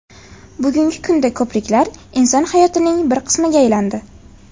Bugungi kunda ko‘priklar inson hayotining bir qismiga aylandi.